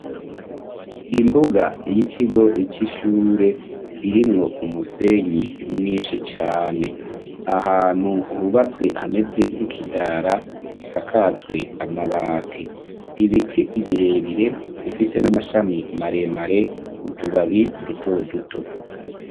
Imbuga y'ikigo c'ishure irimwo umusenyi mwinshi cane ahantu hubatswe hameze nk'ikidara gisakazwe amabati ibiti ibirebire bifise n'amashami maremare utubabi dutoduto.